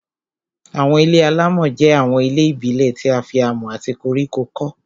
Àwọn ilé-alámọ̀ jẹ́ àwọn ilé ìbílẹ̀ tí a fi amọ̀ àti koríko kọ́